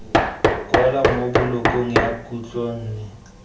kwalwa mo bolokong ya khutlonne